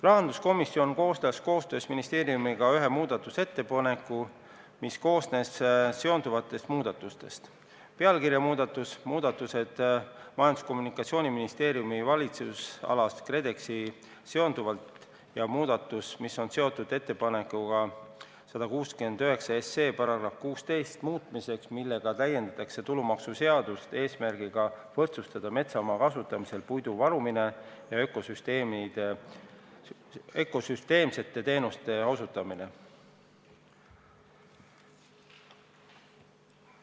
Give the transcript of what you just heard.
Rahanduskomisjon koostas koostöös ministeeriumiga ühe muudatusettepaneku, mis koosnes seonduvatest muudatustest: pealkirja muudatus, muudatused Majandus- ja Kommunikatsiooniministeeriumi valitsemisalas KredExiga seonduvalt ja muudatus, mis on seotud ettepanekuga 169 SE § 16 muutmiseks, millega täiendatakse tulumaksuseadust eesmärgiga võrdsustada metsamaa kasutamisel puidu varumine ja ökosüsteemsete teenuste osutamine.